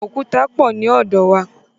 Òkúta pọ̀ ní ọ̀dọ̀ wa.